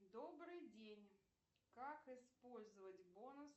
добрый день как использовать бонус